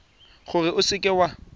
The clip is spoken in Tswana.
gore o seka w a